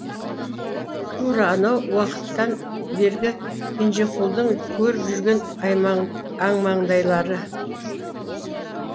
тура анау уақыттан бергі кенжеқұлдың көріп жүрген амаңдайлары